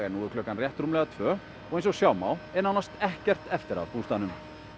nú er klukkan rúmlega tvö og eins og sjá má er nánast ekkert eftir af bústaðnum